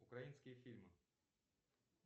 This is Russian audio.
украинские фильмы